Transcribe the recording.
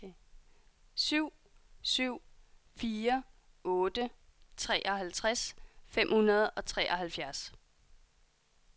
syv syv fire otte treoghalvtreds fem hundrede og treoghalvfjerds